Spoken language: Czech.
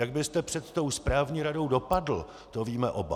Jak byste před tou správní radou dopadl, to víme oba.